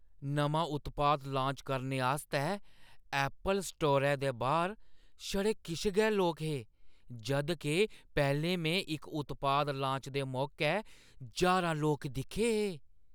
नमां उत्पाद लांच करने आस्तै ऐप्पल स्टोरै दे बाह्‌र छड़े किश गै लोक हे जद् के पैह्‌लें में इक उत्पाद लांच दे मौकै ज्हारां लोक दिक्खे हे।